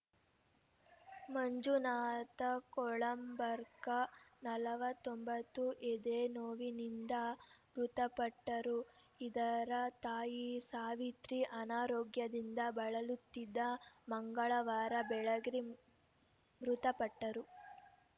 ಮಂಜುನಾಥ ಕೊಳಂಬರ್ಕ ನಲವತ್ತೊಂಬತ್ತು ಎದೆ ನೋವಿನಿಂದ ಮೃತಪಟ್ಟರು ಇದರ ತಾಯಿ ಸಾವಿತ್ರಿ ಅನಾರೋಗ್ಯದಿಂದ ಬಳಲುತ್ತಿದ್ದು ಮಂಗಳವಾರ ಬೆಳಗ್ಗೆ ಮೃತಪಟ್ಟರು